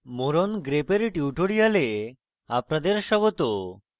more on grep এর tutorial আপনাদের স্বাগত